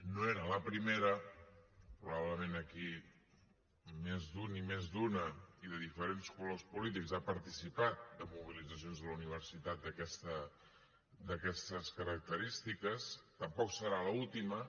no era la primera probablement aquí més d’un i més d’una i de diferents colors polítics ha participat en mobilitzacions a la universitat d’aquestes característiques tampoc serà l’última